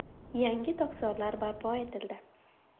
Yangi tokzorlar barpo etildi.